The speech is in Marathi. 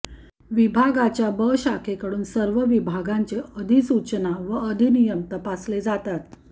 विभागाच्या ब शाखेकडून सर्व विभागांचे अधिसूचना व अधिनियम तपासले जातात